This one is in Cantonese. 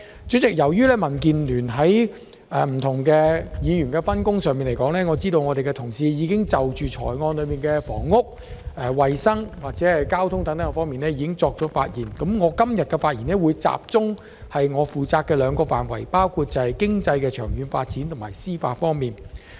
主席，由於民建聯的議員有不同的分工，而我的同事已就預算案中的房屋、衞生及交通等措施發言，所以我今天會集中就我負責的兩個範圍發言，包括經濟的長遠發展及司法。